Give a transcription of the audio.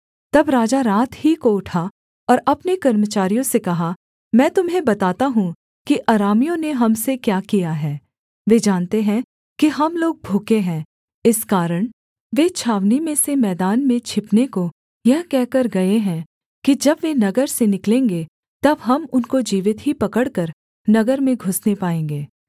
तब राजा रात ही को उठा और अपने कर्मचारियों से कहा मैं तुम्हें बताता हूँ कि अरामियों ने हम से क्या किया है वे जानते हैं कि हम लोग भूखे हैं इस कारण वे छावनी में से मैदान में छिपने को यह कहकर गए हैं कि जब वे नगर से निकलेंगे तब हम उनको जीवित ही पकड़कर नगर में घुसने पाएँगे